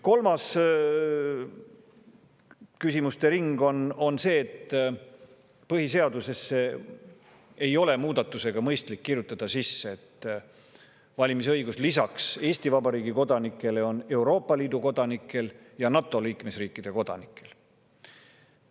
Kolmas küsimuste ring on see, et põhiseadusesse ei ole mõistlik kirjutada muudatusega sisse, et valimisõigus lisaks Eesti Vabariigi kodanikele on Euroopa Liidu kodanikel ja NATO liikmesriikide kodanikel.